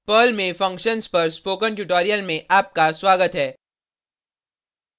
Perl में functions पर spoken tutorial में आपका स्वागत है